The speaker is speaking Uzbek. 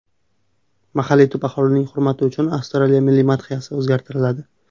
Mahalliy tub aholining hurmati uchun Avstraliya milliy madhiyasi o‘zgartiriladi.